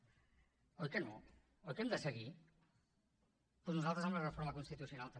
oi que no oi que hem de seguir doncs nosaltres amb la reforma constitucional també